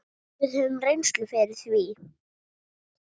Við höfum reynslu fyrir því.